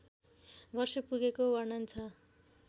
वर्ष पुगेको वर्णन छ